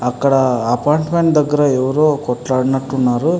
అక్కడ అపార్ట్మెంట్ దగ్గర ఎవరో కొట్లాడుకున్నట్టు ఉన్నారు.